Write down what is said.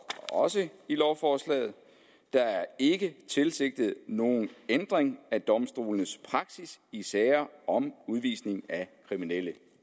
også i lovforslaget der er ikke tilsigtet nogen ændring af domstolenes praksis i sager om udvisning af kriminelle